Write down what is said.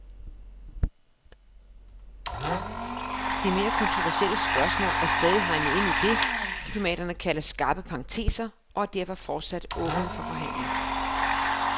De mere kontroversielle spørgsmål er stadig hegnet ind i det, diplomaterne kalder skarpe parenteser og er derfor fortsat åbne for forhandling.